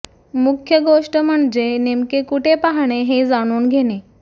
मुख्य गोष्ट म्हणजे नेमके कुठे पाहणे हे जाणून घेणे